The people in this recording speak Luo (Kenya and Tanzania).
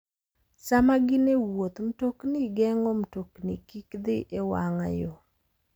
Sama gin e wuoth, mtokni geng'o mtokni kik dhi e wang'a yo.